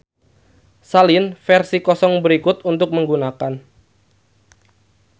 Salin versi kosong berikut untuk menggunakan.